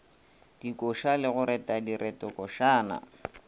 dikoša le go reta diretokošana